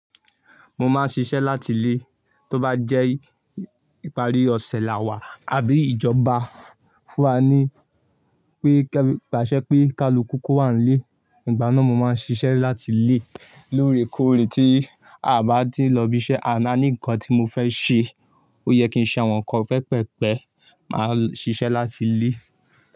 Mo máa ń ṣiṣẹ́ láti ilé, tó bá jẹ́ ìparí ọ̀sẹ̀ làwà àbí ìjọba fún wa ní pé. Paṣẹ́ pé ká lu kuku ko wà nílé, ìgbà náà mo máa ń ṣiṣẹ́ láti ilé. Lóòrèkóòrè tí a bá ti ń lọ ibi iṣẹ́ a ná ní ńkan tí mo fẹ́ ṣe, ó yẹ kí n ṣe àwọn nǹkan pẹpẹ pẹ́, màá ṣiṣẹ́ láti lé.